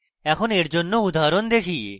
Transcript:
এখন এর জন্য একটি উদাহরণ দেখি